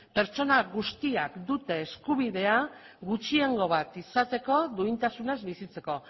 pertsona guztiak dute eskubidea gutxiengo bat izateko duintasunaz bizitzeko